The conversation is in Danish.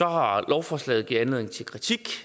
har lovforslaget givet anledning til kritik